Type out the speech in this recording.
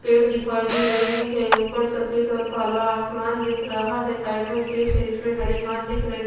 पेड़ दिखाई दे रही है ऊपर सफेद और काला आसमान दिख रहा है साइड में खेत है जिसमें हरी घास दिख रही--